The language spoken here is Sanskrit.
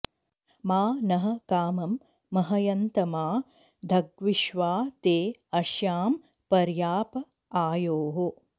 मा नः कामं महयन्तमा धग्विश्वा ते अश्यां पर्याप आयोः